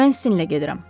Mən sizinlə gedirəm.